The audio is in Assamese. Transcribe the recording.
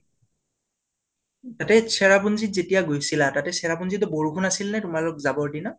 উম্ তাতে চেৰাপুঞ্জীত যেতিয়া গৈছিলা তাতে চেৰাপুঞ্জীত বৰষুণ আছিলনে তোমালোক যাবৰ দিনা?